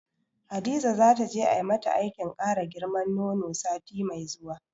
Hadiza zata je ai mata aikin kara girman nono sati mai zuwa.